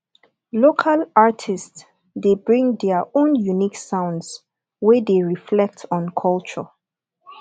local artists de bring their own unique sounds wey de reflect on culture